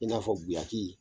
I n'a fɔ guyaki.